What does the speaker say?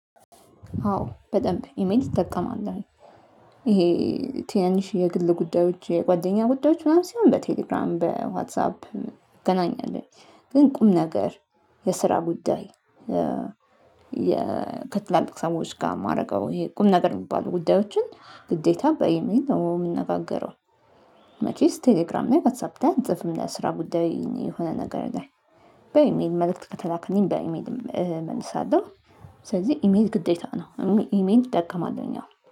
አዎ በደንብ ኢሜል እጠቀማለሁኝ። ይሄ ትናንሽ የግል ጉዳዮች የጓደኛ ጉዳዮች ምናምን ሲሆን በቴሌግራም በዋትሳፕ እገናኛለሁ ግን ቁም ነገር የስራ ጉዳይ። ከትላልቅ ሰዎች ጋር የማደርገው ይሄ ቁም ነገር የሚባሉ ጉዳዮችን ግዴታ በኢሜል ነው የምንነጋገረው። መቼስ ቴሌግራም ላይ ዋትሳፕ ላይ አልጽፍም ለስራ ጉዳይ የሆነ ነገር ላይ በኢሜል መልእክት ከተላከልኝ በኢሜልም እመልሳለሁ። ስለዚህ ኢሜል ግዴታ ነው። ኢሜል እጠቀማለሁኝ አዎ